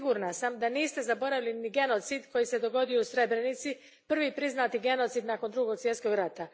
Sigurna sam da niste zaboravili ni genocid koji se dogodio u Srebrenici, prvi priznati genocid nakon Drugog svjetskog rata.